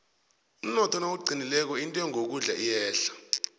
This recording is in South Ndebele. umnotho nawuqinileko intengo yokudla iyehla